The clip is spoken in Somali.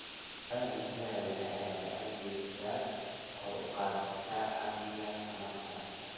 Dalagga tayada leh ayaa gacan ka geysta kor u qaadista amniga tamarta.